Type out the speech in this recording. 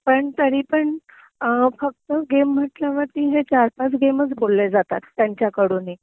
पण तरीपण फक्त गेम म्हटल्यावरती हे चार पाच गेमच बोलले जातात त्यांच्याकडूनही